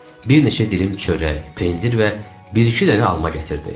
Bir neçə dilim çörək, pendir və bir-iki dənə alma gətirdi.